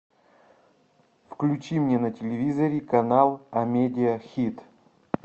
включи мне на телевизоре канал амедия хит